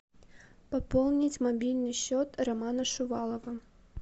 пополнить мобильный счет романа шувалова